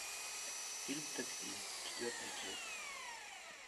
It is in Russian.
фильм такси четвертая часть